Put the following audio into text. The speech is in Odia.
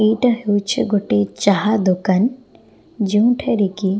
ଏଇଟା ହେଉଛି ଗୋଟେ ଚାହା ଦୋକାନ ଯେଉଁଠାରେ କି।